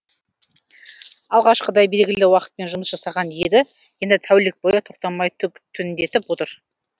алғашқыда белгілі уақытпен жұмыс жасаған еді енді тәулік бойы тоқтамай тіндетіп отыр